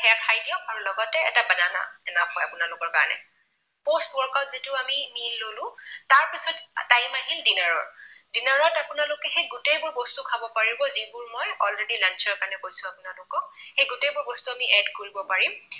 হয় আপোনালোকৰ কাৰণে। post workout যিটো আমি নি ললো। তাৰপিছত time আহিল dinner ৰ। dinner ত আপোনালোকে সেই গোটেইবোৰ বস্তু খাব পাৰিব যিবোৰ মই already ৰ কাৰণে কৈছো আপোনালোকক। সেই গোটেইবোৰ বস্তু আমি add কৰিব পাৰিম।